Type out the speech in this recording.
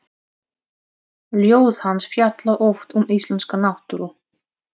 Ljóð hans fjalla oft um íslenska náttúru.